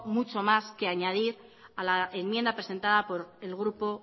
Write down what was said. mucho más que añadir a la enmienda presentada por el grupo